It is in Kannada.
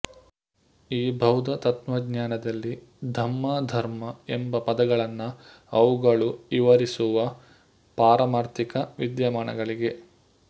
ಈ ಬೌದ್ದ ತತ್ವಜ್ಞಾನದಲ್ಲಿ ಧಮ್ಮಾಧರ್ಮಾ ಎಂಬ ಪದಗಳನ್ನ ಅವುಗಳು ವಿವರಿಸುವ ಪಾರಮಾರ್ಥಿಕ ವಿದ್ಯಮಾನಗಳಿಗೆ